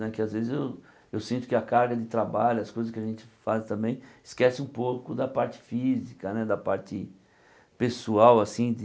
Né que às vezes eu eu sinto que a carga de trabalho, as coisas que a gente faz também, esquece um pouco da parte física né, da parte pessoal, assim de.